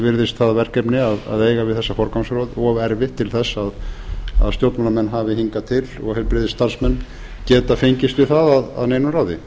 virðist það verkefni að eiga við þessa forgangsröð of erfitt til þess að stjórnmálamenn hafi hingað til og heilbrigðisstarfsmenn geta fengist við það að neinu ráði